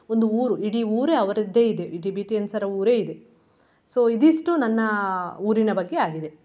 ಒಂದು ಊರು ಇಡೀ ಊರೇ ಅವರದ್ದೇ ಇದೆ Tibetans ರ್ ಊರೇ ಇದೆ. so ಇದಿಷ್ಟು ನನ್ನ ಊರಿನ ಬಗ್ಗೆ ಆಗಿದೆ.